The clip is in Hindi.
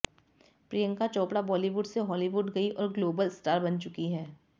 प्रियंका चोपड़ा बॉलीवुड से हॉलीवुड गईं और ग्लोबल स्टार बन चुकी हैं